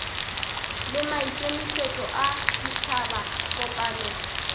le maikemišetšo a ditšhaba kopano